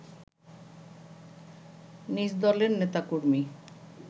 নিজদলের নেতাকর্মী